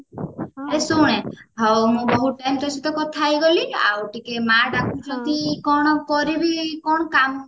ଏ ଶୁଣେ ହଉ ମୁଁ ବହୁତ ଟାଇମ ତୋ ସହିତ କଥା ହେଇଗଲି ଆଉ ଟିକେ ମା ଡାକୁଛନ୍ତି କଣ କରିବି କଣ କାମ